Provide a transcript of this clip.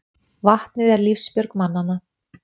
Vatnið er lífsbjörg mannanna.